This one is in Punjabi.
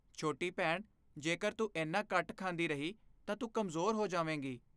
ਛੋਟੀ ਭੈਣ, ਜੇਕਰ ਤੂੰ ਏਨਾ ਘੱਟ ਖਾਂਦੀ ਰਹੀ ਤਾਂ ਤੂੰ ਕਮਜ਼ੋਰ ਹੋ ਜਾਵੇਂਗੀ ।